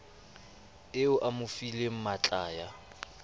eo a mo fileng matlaya